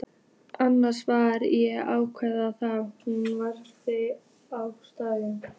Annars var ég lánuð þangað núna vegna haustverkanna.